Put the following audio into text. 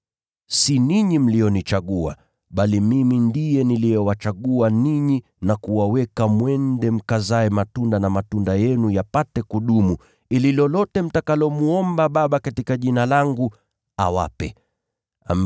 Si ninyi mlionichagua, bali mimi ndiye niliyewachagua ninyi na kuwaweka mwende mkazae matunda, na matunda yenu yapate kudumu. Ili nalo lolote mtakalomwomba Baba katika Jina langu, awape ninyi.